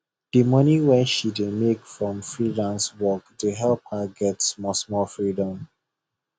the money wey she dey make from freelance work dey help her get smallsmall freedom